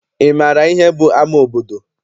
Ị maara ihe bụ ama obodo?